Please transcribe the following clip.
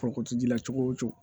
Foroko ci la cogo o cogo